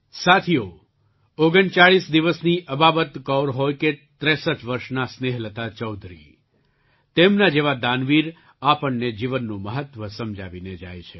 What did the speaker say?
સાથીઓ ૩૯ દિવસની અબાબત કૌર હોય કે ૬૩ વર્ષનાં સ્નેહલતા ચૌધરી તેમના જેવા દાનવીર આપણને જીવનનું મહત્ત્વ સમજાવીને જાય છે